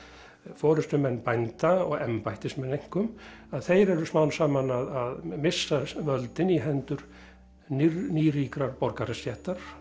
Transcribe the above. forystumenn bænda og embættismenn einkum að þeir eru smám saman að missa völdin í hendur borgarastéttar